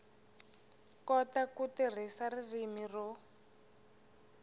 kota ku tirhisa ririmi ro